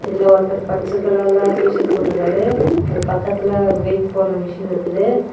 இதுல ஒருத்தர் பச்சை கலர்ல டீ_சர்ட் போட்டு இருக்காரு அவரு பக்கத்துல வெயிட் போடுற மிஷின் இருக்குது.